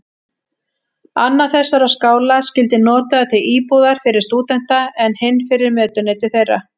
Annar þessara skála skyldi notaður til íbúðar fyrir stúdenta, en hinn fyrir mötuneyti þeirra.